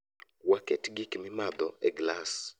Waketo gik mimadho e glas